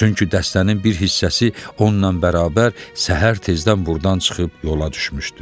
Çünki dəstənin bir hissəsi onunla bərabər səhər tezdən burdan çıxıb yola düşmüşdü.